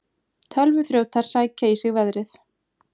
Tölvuþrjótar sækja í sig veðrið